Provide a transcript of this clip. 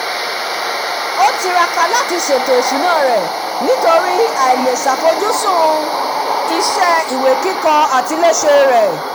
ó tiraka láti láti ṣètò ìṣúná rẹ̀ nítorí àìlèṣafojúsùn iṣẹ́ ìwé kíkọ àtiléṣe rẹ̀